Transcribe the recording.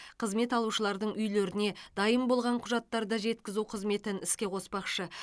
қызмет алушылардың үйлеріне дайын болған құжаттарды жеткізу қызметін іске қоспақшы